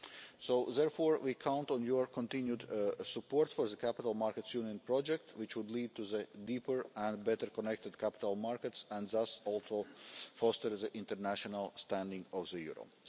So, therefore, we count on your continued support for the Capital Markets Union project, which would lead to deeper and better connected capital markets and thus also foster the international standing of the euro.